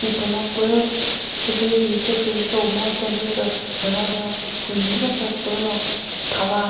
mipüno püh chelü hi che küjo mu mo chelü sü lüta zü humi zü sasü pü no thava.